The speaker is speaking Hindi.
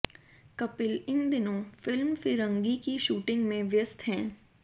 कपिल इन दिनों फिल्म फिरंगी की शूटिंग में व्यस्त हैं